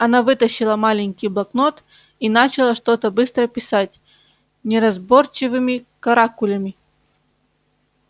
она вытащила маленький блокнот и начала что-то быстро писать неразборчивыми каракулями